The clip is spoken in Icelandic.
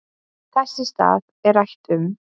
Þess í stað er rætt um